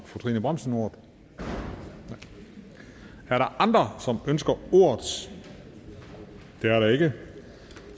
fru trine bramsen ordet nej er der andre som ønsker ordet det er der ikke og